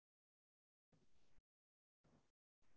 date வந்து பாத்தீங்கனா twenty-seventh.